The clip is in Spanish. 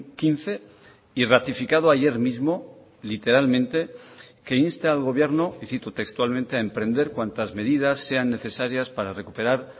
quince y ratificado ayer mismo literalmente que inste al gobierno y citó textualmente a emprender cuantas medidas sean necesarias para recuperar